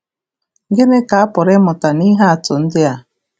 Gịnị ka a pụrụ ịmụta nihe atụ ndị a?